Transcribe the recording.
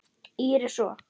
Íris og